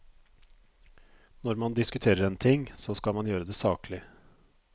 Når man diskuterer en ting, så skal man gjøre det saklig.